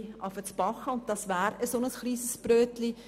Die glp ist daran gewöhnt, kleine Brötchen zu backen.